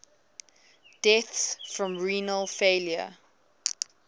deaths from renal failure